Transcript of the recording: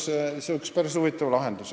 See oleks päris huvitav lahendus.